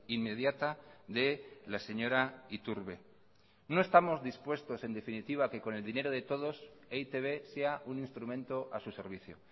inmediata de la señora iturbe no estamos dispuestos en definitiva que con el dinero de todos e i te be sea un instrumento a su servicio